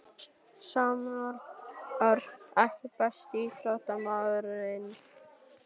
Samúel Örn EKKI besti íþróttafréttamaðurinn?